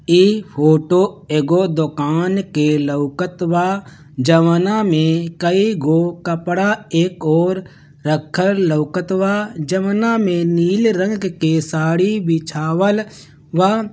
ई फोटो एगो दुकान की लौकत बा जवाना मे कईगो कपड़ा एक ओर रखल लौकत बा जवना मे नीले रंग की साड़ी बिछावल बा।